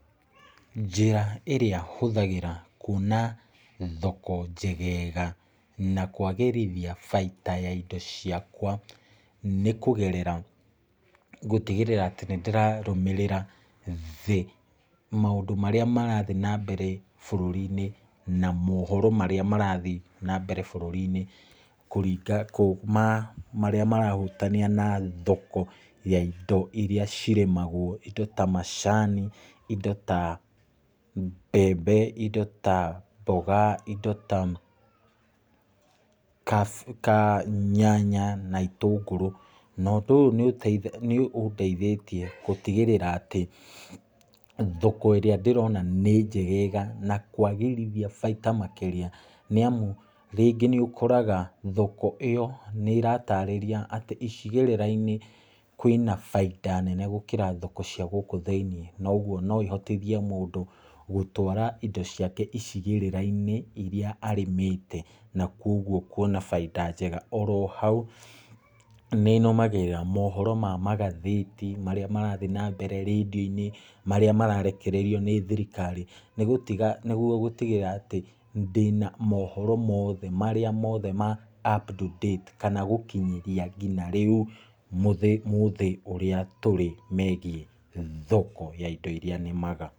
Njĩra ĩrĩa hũthagĩra kwona thoko njegega, na kwagĩrithia baita ya indo ciakwa, nĩ kũgerera gũtigĩrĩra atĩ nĩ ndĩrarũmĩrĩra thĩ, maũdũ marĩa marathiĩ nambere bũrũri-inĩ, na mohoro marĩa marathiĩ nambere bũrũri-inĩ kuuma marĩa marahutania na thoko ya indo iria cirĩmagwo. Indo tamacani, indo ta mbembe, indo ta mboga, indo ta nyanya na itũngũrũ. No ũndũ ũyũ nĩ ũndeithĩtie gũtigĩrĩra atĩ, thoko ĩrĩa ndĩrona nĩ njegega na kwagĩrithia baita makĩria, nĩamu rĩngĩ nĩ ũkoraga thoko ĩyo, nĩ ĩratarĩria icigĩrĩra-inĩ, kwĩna bainda nene gũkĩra thoko cia gũkũ thĩiniĩ. Koguo no ihotithie mũndũ gũtwara indo ciake icigĩrĩra-inĩ iria arĩmĩte, na kwoguo kwona baita njega. Ohau, nĩnũmagĩrĩra mohoro ma magathĩti, marĩa marathiĩ nambere, marĩa mararekererio nĩ thirikari, nĩguo gũtigĩrĩra atĩ, ndĩna mohoro marĩa mothe, up to date, kana gũkĩnyĩthia ngina rĩu, mũthĩ ũrĩa tũrĩ megiĩ thoko ya indo iria nĩmaga.